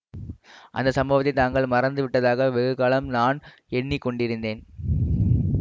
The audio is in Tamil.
அந்த சம்பவத்தை தாங்கள் மறந்து விட்டதாக வெகுகாலம் நான் எண்ணி கொண்டிருந்தேன்